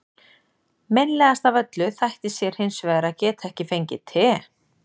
Meinlegast af öllu þætti sér hins vegar að geta ekki fengið te.